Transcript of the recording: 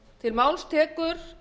virðulegi forseti það er